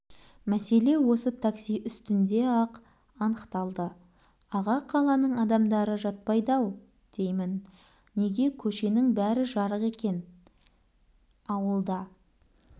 мәселе осы такси үстінде-ақ анықталды аға қаланың адамдары жатпайды-ау деймін неге көшенің бәрі жарық екен ауылда